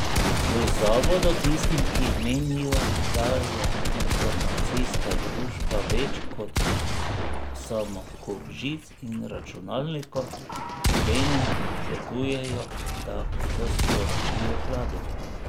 V zavodu tistim, ki menijo, da je informacijska družba več kot samo kup žic in računalnikov, obenem svetujejo, da to sporočijo vladi.